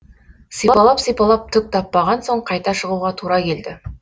сипалап сипалап түк таппаған соң қайта шығуға тура келді